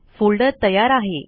folder तयार आहे